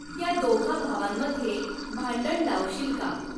त्या दोघा भावांमध्ये भांडण लावशील का